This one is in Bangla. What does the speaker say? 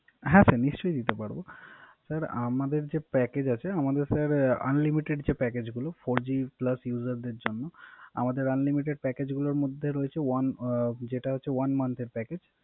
হ্যা Sir নিশ্চই দিতে পারব। Sir আমাদের যে Package আছে আমাদের Sir আনলিমিটেড যে Package গুলো Four G plus user দের জন্য। আমাদের আনলিমিটেড Package গুলোর মধ্যে রয়েছে যেটা আছে One month এর Package.